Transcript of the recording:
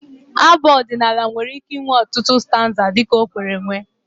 Abụ ọdịnala nwere ike inwe ọtụtụ stanza dị ka o kwere mee